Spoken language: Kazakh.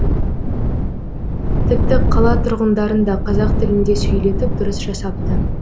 тіпті қала тұрғындарын да қазақ тілінде сөйлетіп дұрыс жасапты